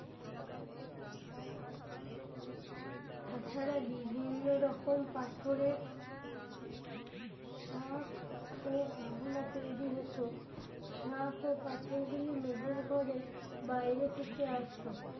তাছাড়া বিভিন্ন রকম পাথরের শাখ ও গহনা তৈরি হত শাখ ও পাথর গুলি মেহেরগড়ে বাইরে থেকে আসতো